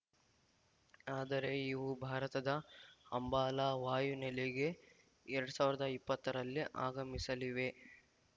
ಆದರೆ ಇವು ಭಾರತದ ಅಂಬಾಲಾ ವಾಯುನೆಲೆಗೆ ಎರಡ್ ಸಾವಿರದ ಇಪ್ಪತ್ತರಲ್ಲಿ ಆಗಮಿಸಲಿವೆ